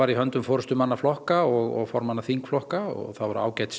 í höndum forystumanna flokka og flokka og það voru